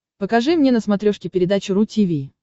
покажи мне на смотрешке передачу ру ти ви